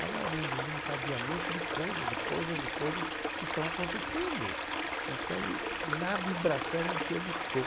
ela é um desencadeamento de coisas e coisas e coisa que estão acontecendo então na vibração em que eu estou.